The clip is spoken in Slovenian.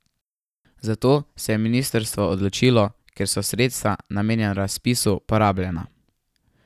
Za to se je ministrstvo odločilo, ker so sredstva, namenjena razpisu, porabljena.